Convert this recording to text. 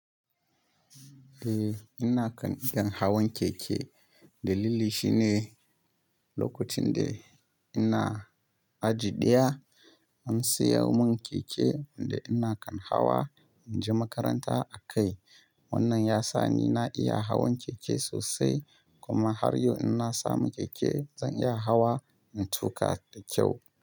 Eh, ina kan iya hawan keke. Dalili shine lokacin da ina aji ɗaya an saya mun keke da ina kan hawa in je makaranta a kai. Wannan yasa ni na iya hawan keke sosai, kuma har yau in na samu keke zan iya hawa in tuƙa da kyau.